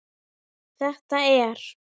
Þetta er.